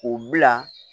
K'u bila